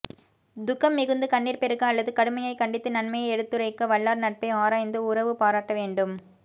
துக்கம் மிகுந்து கண்ணிர் பெருக அல்லது கடுமையாய் கண்டித்து நன்மையை எடுத்துரைக்க வல்லார் நட்பை ஆராய்ந்து உறவு பாராட்ட வேண்டும்